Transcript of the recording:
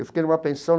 Eu fiquei numa pensão.